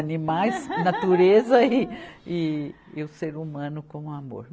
Animais, natureza e, e, e o ser humano com o amor.